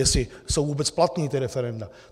Jestli jsou vůbec platná ta referenda.